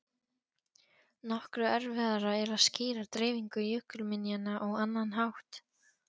Nokkru erfiðara er að skýra dreifingu jökulminjanna á annan hátt.